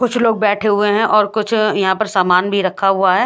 कुछ लग बेठे हुए है और कुछ यहाँ पर सामान भी रखा हुआ है।